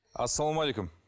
ассалаумағалейкум